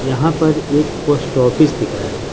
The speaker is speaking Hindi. यहां पर एक पोस्ट ऑफिस दिख रहा है ।